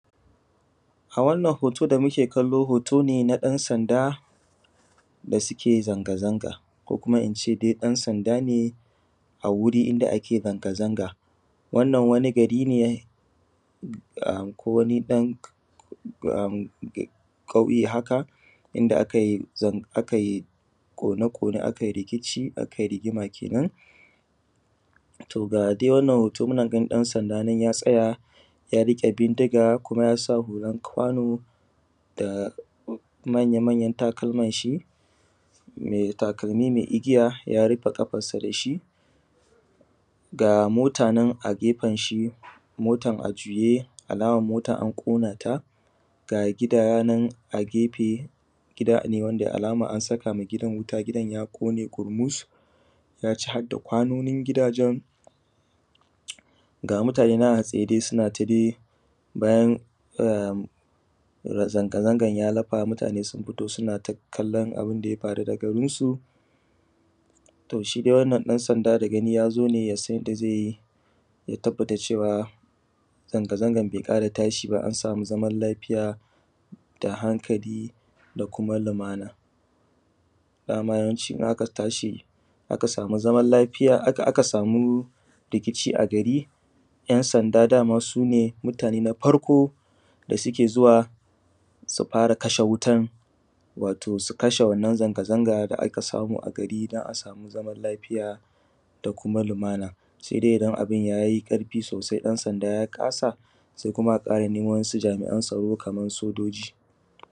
A wannan hoto da muke gani hotone na ɗan sanda da suke zanga zanga ko kuma ince dai ɗan sanda ne a gurin da ake zanga zanga. Wannan wani gari ne wani ɗan ƙauye haka inda akayi kone ƙone a kayi rikiciakai rigima kenan. To ga dai wannan hoto muna ganin ɗan sanda ya tsaya ya riƙe bindiga kuma yasa hulan kwano da manya manyan takalmanshi mai takalmi mai igiya ya rufe ƙafarsa dashi ga mota nana gefenshi mota a juye alaman an ƙona ta ga gidanan a gefe gidane wanda alaman an sakama gidan wutagidan ya ƙone kurmus yaci hadda kwanoni gidajen, ga mutane nan a tsaye sonata dai bayan zanga angan ya lafa mutane sun fito sonata kallon abunda ya faru da garinsu. To shidai wannan ɗan sanda da gani dai yazo ne yasan yanda zaiyi ya tabbata cewa zanga zangan bai ƙara tashi ba an sami zaman lafiya da hankali da kuma lumana. Dama shi in aka aka samu rikici a gari ‘yan sanda sune farko da suke fara zuwa su kashe wutan wato su kashe wannan zanga zangada aka samu a gari dan a samu zaman lafiya da kuma lumana idan abun yayi ƙarfi sosai ɗan sanda ya kasa sai kuma a ƙara neman wasu jami’an tsaro Kaman su doshi.